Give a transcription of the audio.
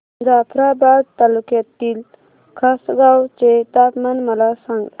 जाफ्राबाद तालुक्यातील खासगांव चे तापमान मला सांग